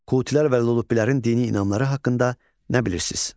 Kutilər və Lulubbilərin dini inancları haqqında nə bilirsiz?